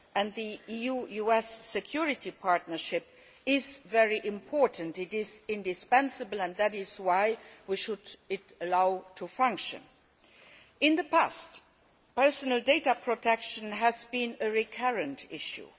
The EU US security partnership is very important it is indispensable and that is why we should allow it to function. In the past, personal data protection has been a recurrent issue.